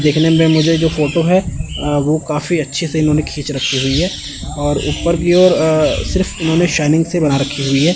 देखने में मुझे जो फोटो है अ वो काफी अच्छे से इन्होंने खींच रखी हुई है और ऊपर की ओर अ सिर्फ इन्होंने शाइनिंग सी बना रखी है।